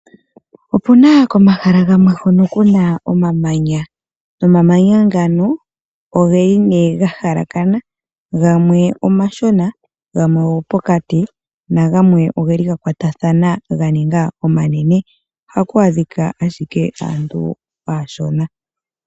Opuna komahala gamwe hono kuna omamanya, nomamanya ngano ogeli ne gahala kana gamwe omashona, gamwe ogo pokati nagamwe ogeli gakwatathana ga ninga omanene. Ohaku adhika ashike aantu ashona.